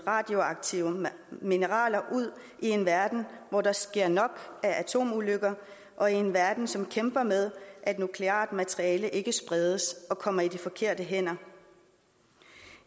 radioaktive mineraler ud i en verden hvor der sker nok atomulykker og i en verden som kæmper med at nukleart materiale ikke skal spredes og komme i de forkerte hænder